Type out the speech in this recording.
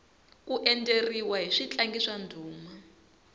ku endzeriwa hi switlangi swa ndhuma